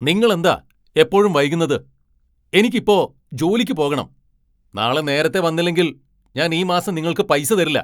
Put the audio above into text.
നിങ്ങൾ എന്താ എപ്പോഴും വൈകുന്നത്? എനിക്ക് ഇപ്പോ ജോലിക്ക് പോകണം! നാളെ നേരത്തെ വന്നില്ലെങ്കിൽ ഞാൻ ഈ മാസം നിങ്ങൾക്ക് പൈസ തരില്ല.